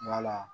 Wala